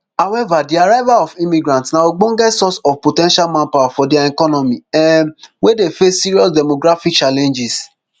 however di arrival of immigrants na ogbonge source of po ten tial manpower for dia economy um wey dey face serious demographic challenges